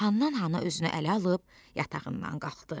Hannan-hana özünü ələ alıb yatağından qalxdı.